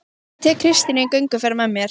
Og tek Kristínu í gönguferðir með mér